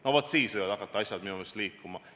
No vaat, siis võivad hakata asjad liikuma.